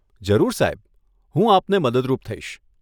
જરૂર સાહેબ, હું આપને મદદરૂપ થઈશ.